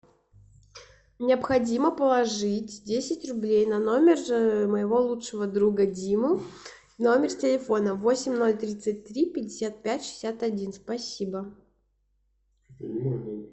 необходимо положить десять рублей на номер моего лучшего друга димы номер телефона восемь ноль тридцать три пятьдесят пять шестьдесят один спасибо